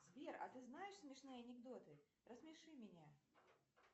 сбер а ты знаешь смешные анекдоты рассмеши меня